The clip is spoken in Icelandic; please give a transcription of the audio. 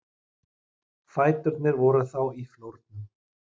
Fæturnir voru þá í flórnum.